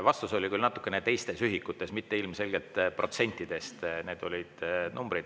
Vastus oli küll natuke teistes ühikutes, ilmselgelt mitte protsentides.